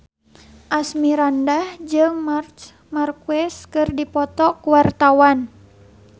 Asmirandah jeung Marc Marquez keur dipoto ku wartawan